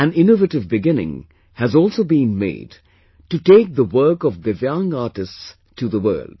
An innovative beginning has also been made to take the work of Divyang artists to the world